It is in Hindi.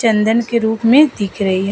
चन्दन के रूप में दिख रही है।